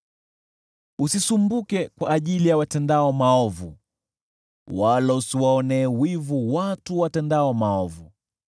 Usisumbuke kwa ajili ya watendao maovu, wala usiwaonee wivu watendao mabaya,